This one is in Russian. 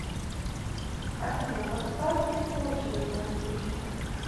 афина поставьте в очередь на стрижку